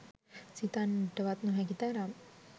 සිතන්නටවත් නොහැකි තරම්